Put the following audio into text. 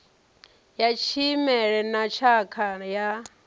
ya tshimela na tshakha ya